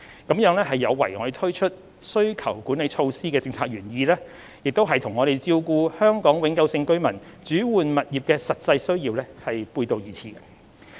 這有違推出需求管理措施的政策原意，亦與照顧香港永久性居民轉換物業的實際需要背道而馳。